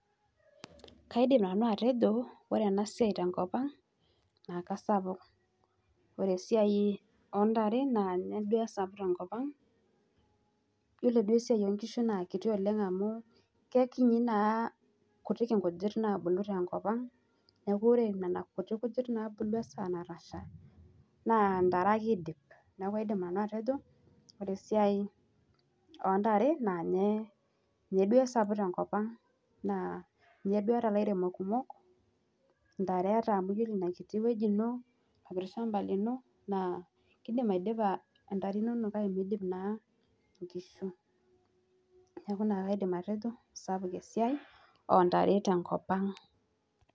Kaadim nanu atejo, ore ena siai tenkopang naa kesapuk. Ore esiai oontare naa ninye duo esapuk tenkopang. Yiolo duo esiai oo nkishu naa kiti oleng amu kekinyi naa, kuti inkujit naabulu tenkop. Neeku ore nena kuti kujit naabulu erishata natasha naa ntare ake idip. Neekunaadim nanu ake atejo, ore esiai oontare naa ninye duo esapuk tenkopang naa ninye duo eeta ilairemok kumok, ntare eeta amu ore ina kiti wueji ino naa kiidim aitosha intare inonok kake miidip naa nkishu. Neeku ina ake aaidim atejo, sapuk esiai oontare tenkopang